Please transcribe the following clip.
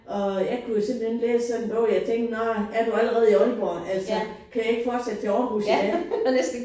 Og jeg kunne jo simpelthen læse sådan en bog jeg tænkte nåh er du allerede i Aalborg altså kan jeg ikke fortsætte til Aarhus i dag